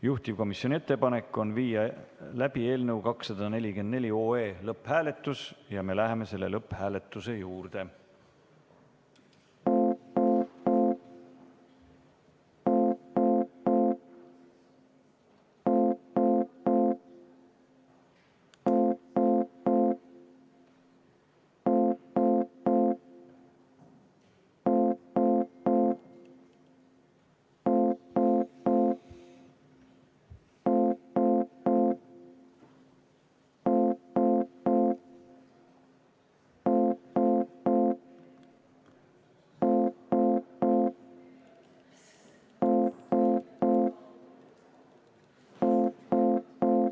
Juhtivkomisjoni ettepanek on viia läbi eelnõu 244 lõpphääletus ja me läheme lõpphääletuse juurde.